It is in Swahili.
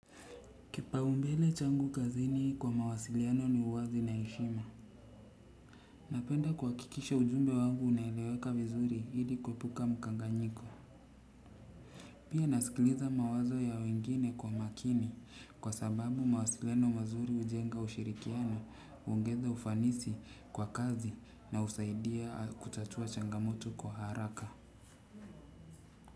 Kipa umbele changu kazini kwa mawasiliano ni uwazi na heshima. Napenda kuha kikisha ujumbe wangu unaeleweka vizuri ili kue puka mkanganyiko. Pia nasikiliza mawazo ya wengine kwa makini kwa sababu mawasiliano mazuri hujenga ushirikiano huongeza ufanisi kwa kazi na husaidia kutatua changamoto kwa haraka.